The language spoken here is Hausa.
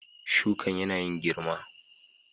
Shukan yana yin girma.